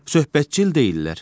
Söhbətcil deyillər.